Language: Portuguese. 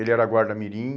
Ele era guarda mirim.